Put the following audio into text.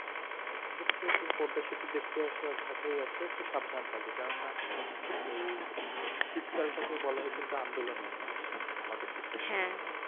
মানে তুমি পদ্দা সেতু দেখতে এসো আর ঢাকায় এসো একটু সাবধান এ থাকবে কেন না এই সিত কাল টাকেই বলা হয় কিন্তু আন্দোলনের মাঠ আমাদের দেশে হ্যা হ্যা